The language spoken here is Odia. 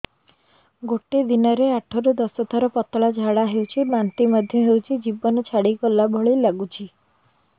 ଗୋଟେ ଦିନରେ ଆଠ ରୁ ଦଶ ଥର ପତଳା ଝାଡା ହେଉଛି ବାନ୍ତି ମଧ୍ୟ ହେଉଛି ଜୀବନ ଛାଡିଗଲା ଭଳି ଲଗୁଛି